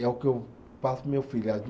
É o que eu passo para o meu filho